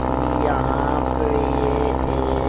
यहां पे ये एक--